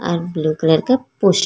अर blue colour का पोश --